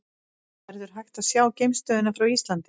Verður hægt að sjá geimstöðina frá Íslandi?